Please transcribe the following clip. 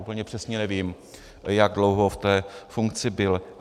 Úplně přesně nevím, jak dlouho v té funkci byl.